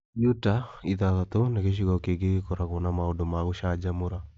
Utah (ithathatũ) nĩ gĩcigo kĩngĩ gĩkoragũo na maũndũ ma gũcanjamũra.